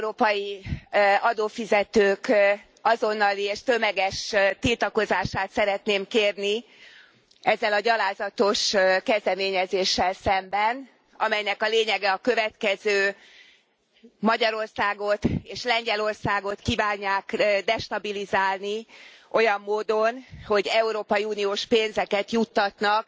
Az európai adófizetők azonnali és tömeges tiltakozását szeretném kérni ezzel a gyalázatos kezdeményezéssel szemben, amelynek a lényege a következő Magyarországot és Lengyelországot kívánják destabilizálni olyan módon, hogy európai uniós pénzeket juttatnak